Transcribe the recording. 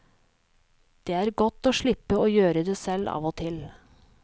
Det er godt å slippe å gjøre det selv av og til.